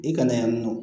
I kana yan nɔ